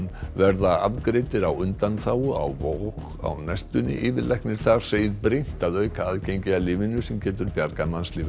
verða afgreiddir á undanþágu á Vog á næstunni yfirlæknir þar segir brýnt að auka aðgengi að lyfinu sem getur bjargað mannslífum